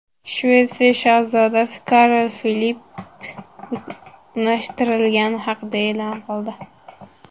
Shvetsiya shahzodasi Karl Filipp unashtirilgani haqida e’lon qildi.